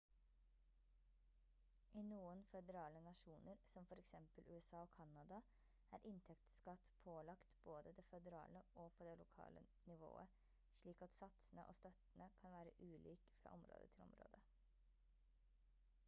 i noen føderale nasjoner som for eksempel usa og canada er inntektsskatt pålagt både på det føderale og på det lokale nivået slik at satsene og støttene kan være ulik fra område til område